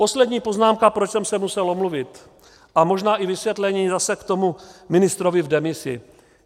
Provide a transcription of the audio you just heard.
Poslední poznámka, proč jsem se musel omluvit, a možná i vysvětlení zase k tomu ministrovi v demisi.